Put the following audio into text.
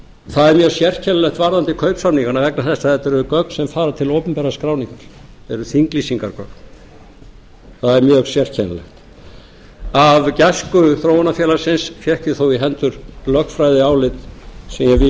það er mjög sérkennilegt varðandi kaupsamningana vegna þess að þetta eru gögn sem fara til opinberrar skráningar þetta eru þinglýsingargögn það er mjög sérkennilegt af gæsku þróunarfélagsins fékk ég þó í hendur lögfræðiálit sem